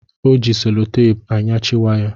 Ọ ji selotapu anyachị waya